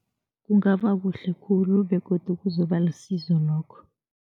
Kungaba kuhle khulu begodu kuzoba lisizo lokho.